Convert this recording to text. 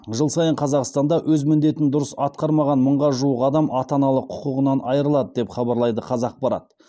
жыл сайын қазақстанда өз міндетін дұрыс атқармаған мыңға жуық адам ата аналық құқығынан айырылады деп хабарлайды қазақпарат